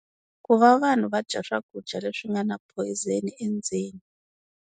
Ku va vanhu va dya swakudya leswi swi nga na ephoyizeni endzeni.